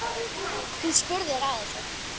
Þú spurðir að þessu.